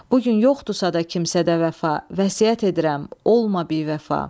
Bu gün yoxdursa da kimsədə vəfa, vəsiyyət edirəm, olma bivəfa.